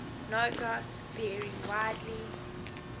ngos vary widely